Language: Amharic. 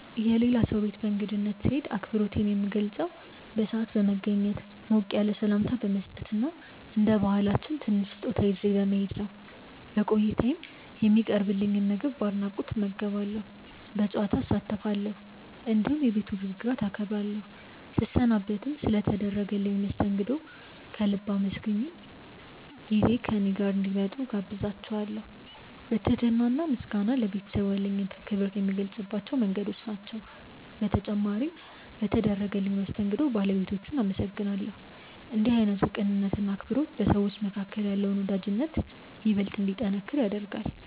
የሌላ ሰው ቤት በእንግድነት ስሄድ አክብሮቴን የምገልጸው በሰዓት በመገኘት፣ ሞቅ ያለ ሰላምታ በመስጠት እና እንደ ባህላችን ትንሽ ስጦታ ይዤ በመሄድ ነው። በቆይታዬም የሚቀርብልኝን ምግብ በአድናቆት እመገባለሁ፣ በጨዋታ እሳተፋለሁ፣ እንዲሁም የቤቱን ህግጋት አከብራለሁ። ስሰናበትም ስለ ተደረገልኝ መስተንግዶ ከልብ አመስግኜ በሌላ ጊዜ እኔ ጋር እንዲመጡ እጋብዛቸዋለው። ትህትና እና ምስጋና ለቤተሰቡ ያለኝን ክብር የምገልጽባቸው መንገዶች ናቸው። በተጨማሪም በተደረገልኝ መስተንግዶ ባለቤቶቹን አመሰግናለሁ። ይህ አይነቱ ቅንነት እና አክብሮት በሰዎች መካከል ያለውን ወዳጅነት ይበልጥ እንዲጠነክር ያደርጋል።